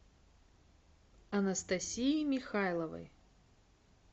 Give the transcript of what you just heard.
анастасии михайловой